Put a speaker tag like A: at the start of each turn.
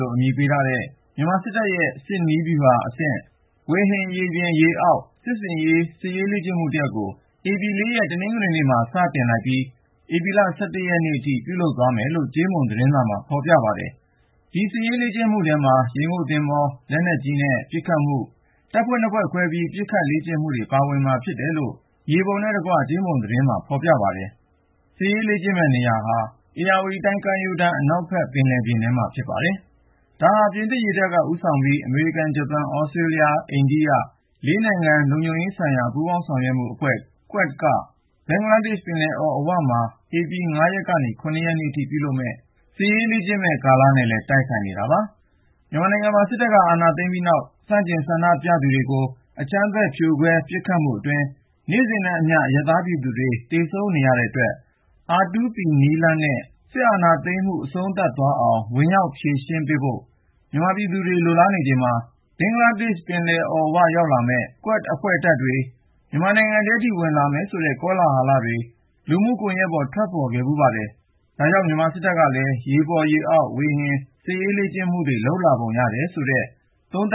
A: လို့ အမည်ပေးထားတဲ့ မြန်မာစစ်တပ်ရဲ့ စစ်နည်းဗျူဟာအဆင့် ဝေဟင်၊ ရေပြင် ၊ ရေအောက် စစ်ဆင်ရေး စစ်ရေးလေ့ကျင့်မှုတရပ်ကို ဧပြီလ(၄)ရက် တနင်္ဂနွေနေ့က စတင်လိုက်ပြီး ဧပြီ(၁၁) ရက်နေ့ထိ ပြုလုပ်သွားမယ်လို့ ကြေးမုံသတင်းစာမှာ ဖေါ်ပြပါတယ်။ ဒီ စစ်ရေးလေ့ကျင့်မှုထဲမှာ ရေငုပ်သင်္ဘော ၊ ဝေဟင် ရေပြင် စစ်ဆင်ရေး ၊ လက်နက်ကြီး ပစ်ခတ်လေ့ကျင့်မှု၊ တပ်ဖွဲ့ နှစ်ဖွဲ့ခွဲပြီး ပစ်ခတ်လေ့ကျင့်မှုတွေ ပါဝင်မှာ ဖြစ်တယ်လို့ မြေပုံနဲ့တကွ ကြေးမုံသတင်းမှာ ဖေါ်ပြပါတယ်။ မြေပုံအရ စစ်ရေးလေ့ကျင့်တဲ့ နေရာဟာ ဧရာဝတီတိုင်း ကမ်းရိုးတန်း အနောက်ဖက် ပင်လယ်ပြင်ထဲမှာ ဖြစ်ပါတယ်။ ဒါဟာ ပြင်သစ်ရေတပ်က ဦးဆောင်ပြီး အမေရိကန်၊ ဂျပန်၊ သြစတြေးလျား၊ အိန္ဒိယ ၄ နိုင်ငံ လုံခြုံရေးဆိုင်ရာ ပူးပေါင်းဆောင်ရွက်မှုအဖွဲ့ QUAD က ဘင်္ဂလားပင်လယ်အော် အဝမှာ ဧပြီလ(၅)ရက်ကနေ (၇)ရက်နေ့ထိ ပြုလုပ်မယ့် စစ်ရေးလေ့ကျင့်မယ့် ကာလနဲ့လည်း တိုက်ဆိုင်နေတာပါ။ မြန်မာနိုင်ငံမှာ စစ်တပ်က အာဏာသိမ်းပြီးနောက် ဆန့်ကျင်ဆန္ဒပြသူတွေကို အကြမ်းဖက် ဖြိုခွဲ ပစ်ခတ်မှုအတွင်း နေ့စဉ်နဲ့အမျှ အရပ်သားပြည်သူတွေ သေဆုံးနေရတဲ့အတွက် R2P နည်းလမ်းနဲ့ စစ်အာဏာသိမ်းမှု အဆုံးသတ် သွားအောင် ဝင်ရောက် ဖြေရှင်းပေးဖို့ မြန်မာပြည်သူတွေက လိုလားနေချိန်မှာ ဘင်္ဂလားပင်လယ်အော်ဝ ရောက်လာမယ့် QUAD တပ်တွေ မြန်မာပြည်ထဲထိ ဝင်လာမယ်ဆိုတဲ့ ကောလာဟလတွေ လူမှုကွန်ယက်ပေါ် ထွက်ပေါ်ခဲ့ဖူးပါတယ်။ ဒါကြောင့် မြန်မာစစ်တပ်ကလည်း ရေပေါ် ရေအောက် ဝေဟင် စစ်ရေးလေ့ကျင့်မှုတွေ လုပ်လာပုံရတယ်ဆိုတဲ့ သုံးသ